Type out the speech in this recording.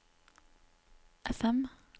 FM